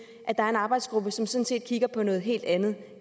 der er en arbejdsgruppe som sådan set kigger på noget helt andet